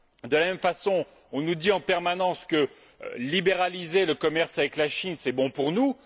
De la même façon, on nous dit en permanence que libéraliser le commerce avec la Chine est bon pour nous.